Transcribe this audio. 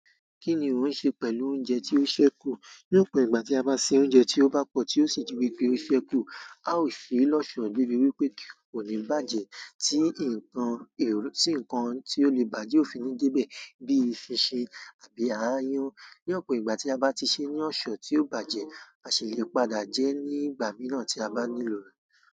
Kí ni ò ń ṣe pẹ̀lú oúnjẹ tí ó ṣẹ́kù? Ní ọ̀pọ̀ ìgbà tí a bá ṣe oúnjẹ tí ó bá pọ̀ tí ó sì di wípé ó ṣẹ́kù, a ó ṣe é lọ́ṣọ̀ọ́ débi wípé kò ní bàjẹ́. Tí nǹkan, tí nǹkan tí ó lè bàá jẹ́ ò fi ní dé bẹ̀, bí i eṣinṣin àbí aáyán. Ní ọ̀pọ̀ ìgbà tí a bá ti ṣe é ní ọ̀ṣọ́ tí ò bàjẹ́, a sì lè padà jẹ ẹ́ ní ìgbà mìíràn tí a bá nílò rẹ̀.